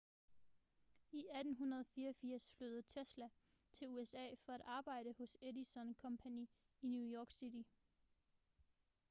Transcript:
i 1884 flyttede tesla til usa for at arbejde hos edison company i new york city